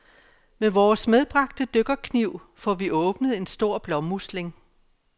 Med vores medbragte dykkerkniv, får vi åbnet en stor blåmusling.